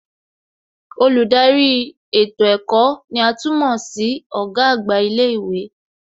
Olùdarí ètò ẹ̀kọ́ ní à tún mọ̀ sí Ọ̀gá àgbà ilé ìwé